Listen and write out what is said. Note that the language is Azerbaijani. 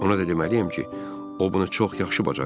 Ona da deməliyəm ki, o bunu çox yaxşı bacarırdı.